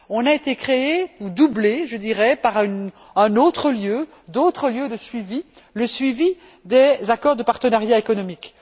On a été créé ou doublé, je dirais, par un autre lieu, d'autres lieux de suivi, le suivi des accords de partenariat économique.